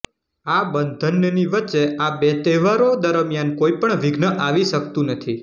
આ બંધનની વચ્ચે આ બે તહેવારો દરમિયાન કોઈ પણ વિધ્ન આવી શકતુ નથી